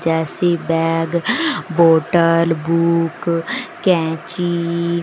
जैसे bag bottle book कैंची --